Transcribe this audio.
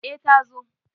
e ta zo